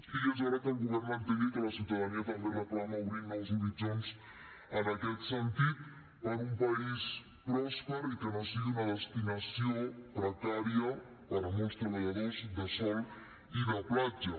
i és hora que el govern entengui que la ciutadania també reclama obrir nous horitzons en aquest sentit per un país pròsper i que no sigui una destinació precària per a molts treballadors de sol i de platja